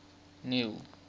neil